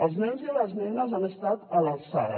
els nenes i les nenes han estat a l’alçada